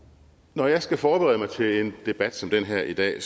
når jeg skal forberede mig til en debat som den her i dag